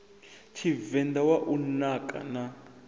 tshivenḓa wa u naka na